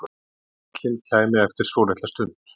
Bíllinn kæmi eftir svolitla stund.